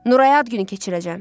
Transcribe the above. Nuraya ad günü keçirəcəm.